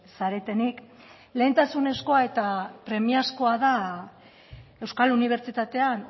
zaretenik lehentasunezkoa eta premiazkoa da euskal unibertsitatean